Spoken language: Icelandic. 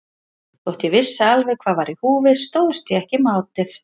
Þótt ég vissi alveg hvað var í húfi stóðst ég ekki mátið.